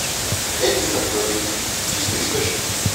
пять литров воды чистый источник